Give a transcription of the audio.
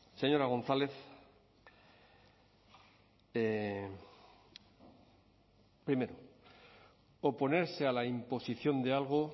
señora gonzález primero oponerse a la imposición de algo